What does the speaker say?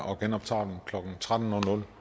og genoptager den klokken tretten